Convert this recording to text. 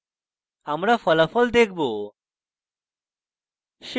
আমরা ফলাফল দেখব